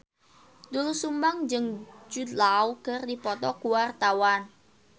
Doel Sumbang jeung Jude Law keur dipoto ku wartawan